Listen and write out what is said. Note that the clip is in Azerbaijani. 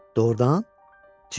Doğrudan?" Cini dedi.